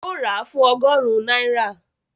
Ó rà fún ọgọ́rùn-ún náírà